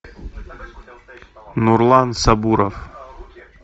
нурлан сабуров